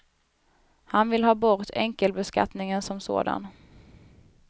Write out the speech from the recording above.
Han vill ha bort enkelbeskattningen som sådan.